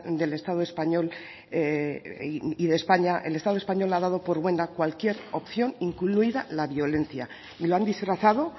del estado español y de españa el estado español ha dado por buena cualquier opción incluida la violencia y lo han disfrazado